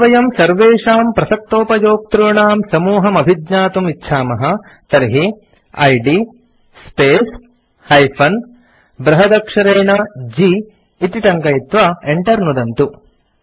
यदि वयं सर्वेषां प्रसक्तोपयोक्तॄणां समूहम् अभिज्ञातुम् इच्छामः तर्हि इद् स्पेस् - बृहदक्षरेणG इति टङ्कयित्वा enter नुदन्तु